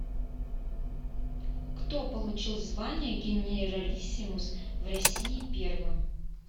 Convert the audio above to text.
кто получил звание генералиссимус в россии первым